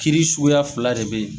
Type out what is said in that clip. Kiri suguya fila de bɛ yen